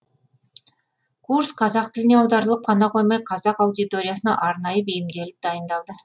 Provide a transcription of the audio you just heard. курс қазақ тіліне аударылып қана қоймай қазақ аудиториясына арнайы бейімделіп дайындалды